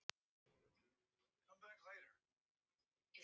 Tók nú Dór að venja komur sínar niður á bryggju.